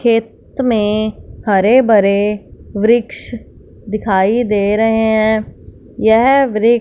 खेत में हरे भरे वृक्ष दिखाई दे रहे हैं यह वृक्ष--